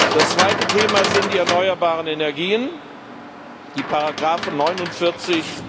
Das zweite Thema sind die erneuerbaren Energien die Ziffern 49